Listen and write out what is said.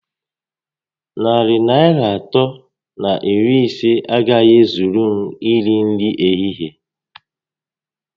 Narị Naịra atọ na iri ise a gaghị ezuru m iri nri ehihie